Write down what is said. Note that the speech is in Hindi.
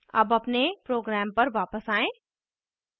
अब अपने program पर वापस आएँ